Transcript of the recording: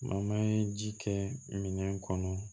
ye ji kɛ minɛn kɔnɔ